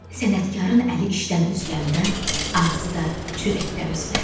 Sənətkarın əli işdən üzüləndə, ağzı da çörəkdən üzülər.